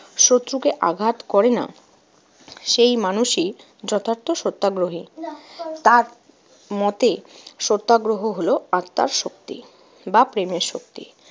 শত্রুকে আঘাত করে না, সেই মানুষই যথার্থ সত্যাগ্রহী। তার মতে সত্যগ্রহ হলো আত্মার শক্তি বা প্রেমের শক্তি।